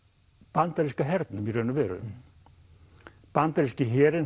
bandaríska hernum í raun og veru bandaríski herinn